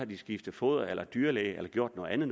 skiftet foder eller dyrlæge eller gjort noget andet